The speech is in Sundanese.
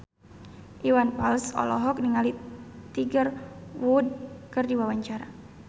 Iwan Fals olohok ningali Tiger Wood keur diwawancara